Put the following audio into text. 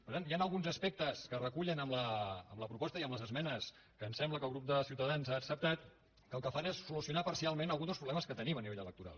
per tant hi han alguns aspectes que es recullen a la proposta i a les esmenes que em sembla que el grup de ciutadans ha acceptat que el que fan és solucionar parcialment alguns dels problemes que tenim a nivell electoral